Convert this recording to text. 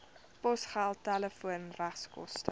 posgeld telefoon regskoste